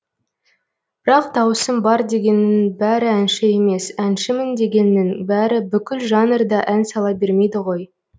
бірақ дауысым бар дегеннің бәрі әнші емес әншімін дегеннің бәрі бүкіл жанрда ән сала бермейді ғой